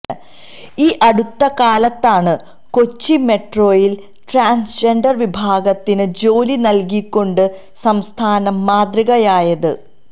ഈ അടുത്തകാലത്താണ് കൊച്ചി മെട്രോയില് ട്രാന്സ്ജെന്ഡര് വിഭാഗത്തിന് ജോലി നല്കിക്കൊണ്ട് സംസ്ഥാനം മാതൃകയായത്